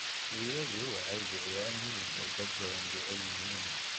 Riyadu waxay bixiyaan hilib ay dad badani jecel yihiin.